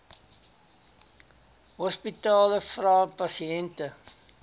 hospitale vra pasiënte